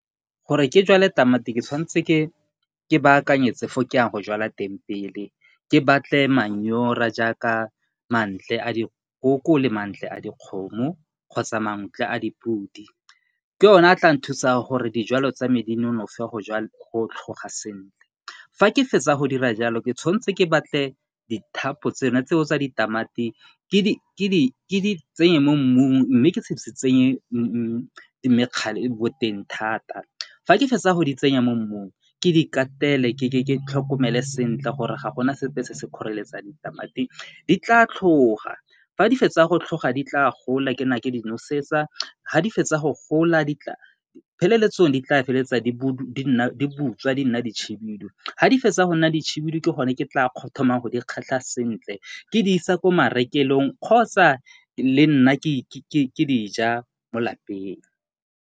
Gore ke jwale tamati ke tshwanetse ke bankanyetse foo ke yang go jwala teng pele, ke batle jaaka mantle a dikoko le mantle a dikgomo kgotsa mantle a dipodi, ke yone a tlang thusa gore dijalo tsa me di nonofe go tlhoga sentle. Fa ke fetsa go dira jalo ke tshwanetse ke batle dithapo tsona tse o tsa ditamati ke di tsenye mo mmung, mme ke se tsenye e boteng thata fa ke fetsa go di tsenya mo mmung ke di katele ke di tlhokomele sentle gore ga gona sepe se se kgoreletsang ditamati. Di tla tlhoga fa di fetsa go tlhoga di tla gola ke nna ke di nosetsa, ga di fetsa go gola pheleletsong di tla feleletsa di butswa di nna dikhibidu fa di fetsa go nna dikhibidu ke gone ke tla thomang go di kgatlha sentle ke di isa ko marekelong kgotsa le nna ke dija mo lapeng.